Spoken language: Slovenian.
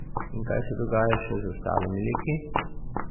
In kaj se dogaja še z ostalimi liki?